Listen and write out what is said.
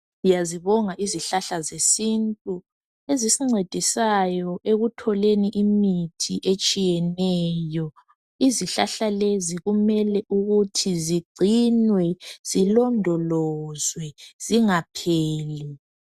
Siyazibonga izihlahla zesintu ezingcedisayo ekutholeni imithi etshiyeneyo izihlahla lezi kumele ukuthi zingcinwe zilondolozwe zingapheli